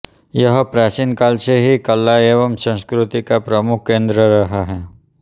यह प्राचीन काल से ही कला एवं संस्कृति का प्रमुख केंद्र रहा है